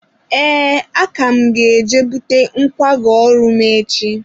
ee, aka m ga-eje bute nkwago ọrụ m echi.